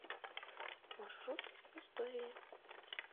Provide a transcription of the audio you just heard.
маршрут истории